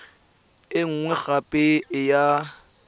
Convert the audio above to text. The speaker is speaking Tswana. e nngwe gape e ya